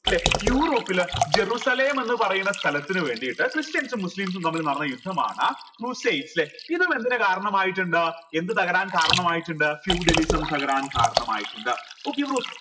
ല്ലെ യൂറോപ്പിൽ ജെറുസലേം എന്ന് പറയുന്ന സ്ഥലത്തിനുവേണ്ടിട്ട് ക്രിസ്ത്യൻസും മുസ്ലിംസും തമ്മിൽ നടന്ന യുദ്ധമാണ് ല്ലെ ഇതും എന്തിന് കാരണമായിട്ടിണ്ട് എന്ത് തകരാൻ കാരണമായിട്ടിണ്ട് feudalism തകരാൻ കരണമായിട്ടിണ്ട് okay